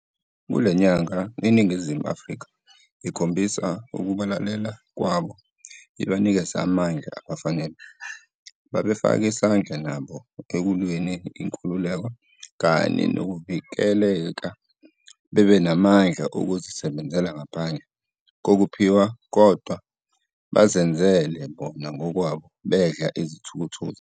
Kulenyanga iNingizimu Afrika ikhombisa ukubalela kwabo ibanikeze amandla abafanele, babefake isandla nabo okulweleni inkululeka kanye nokuvikele bebe namandla okuzi sebenzela ngaphandle kokuphiwa kodwa bazenzele bona ngokwabo bedla izithukuthuku zabo.